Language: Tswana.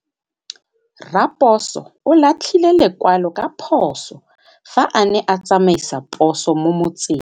Raposo o latlhie lekwalô ka phosô fa a ne a tsamaisa poso mo motseng.